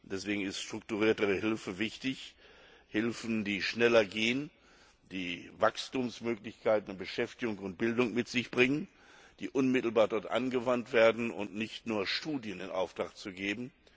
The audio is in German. Deswegen ist strukturiertere Hilfe wichtig Hilfe, die schneller geht, die Wachstumsmöglichkeiten, Beschäftigung und Bildung mit sich bringt, die unmittelbar dort angewandt wird, und nicht nur Studien in Auftrag zu geben.